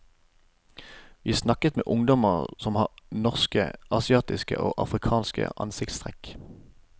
Vi snakket med ungdommer som har norske, asiatiske og afrikanske ansiktstrekk.